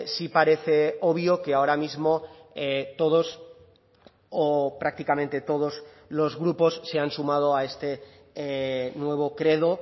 sí parece obvio que ahora mismo todos o prácticamente todos los grupos se han sumado a este nuevo credo